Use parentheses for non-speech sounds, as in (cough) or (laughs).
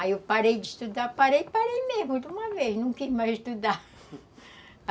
Aí eu parei de estudar, parei e parei mesmo de uma vez, não queria mais estudar (laughs)